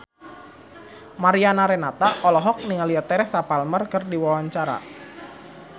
Mariana Renata olohok ningali Teresa Palmer keur diwawancara